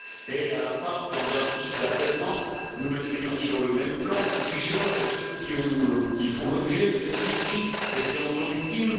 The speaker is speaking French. Et à la fin, dans un souci d'apaisement, nous mettrions sur le même plan les tricheurs et ceux qui font l'objet de ces tricheries et qui en sont victimes?